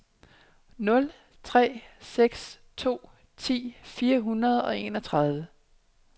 nul tre seks to ti fire hundrede og enogtredive